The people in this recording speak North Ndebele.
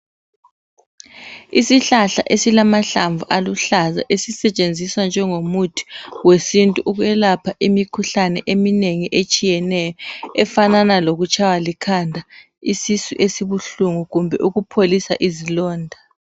Isihlahla esilamahlamvu aluhlaza esisetshenziswa njengomuthi wesintu ukwelapha imikhuhlane eminengi etshiyeneyo efanana lokutshaywa likhanda, isisu esibuhlungu kumbe ukupholisa izilonda.